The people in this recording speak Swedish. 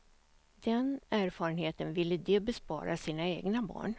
Den erfarenheten ville de bespara sina egna barn.